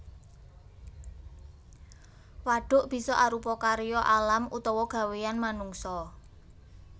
Wadhuk bisa arupa karya alam utawa gawéyan manungsa